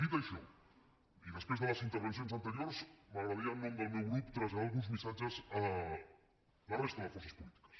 dit això i després de les intervencions anteriors m’agradaria en nom del meu grup traslladar alguns missatges a la resta de forces polítiques